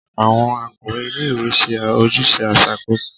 Awọn akọwe ílé-ìwé ṣe ojuse iṣakoso